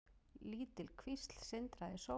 Lítil kvísl sindraði í sólinni.